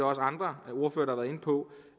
også andre ordførere inde på